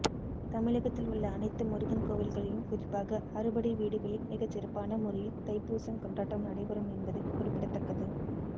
தமிழகத்தில் உள்ள அனைத்து முருகன் கோவில்களிலும் குறிப்பாக அறுபடை வீடுகளில் மிகச்சிறப்பான முறையில் தைப்பூசம் கொண்டாட்டம் நடைபெறும் என்பது குறிப்பிடத்தக்கது